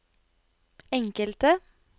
enkelte